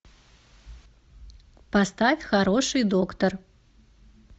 поставь хороший доктор